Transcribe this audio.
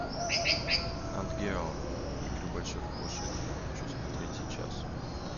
нат гео игры больших кошек хочу смотреть сейчас